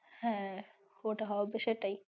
হ্যাঁ ওটা হবে সেটাই।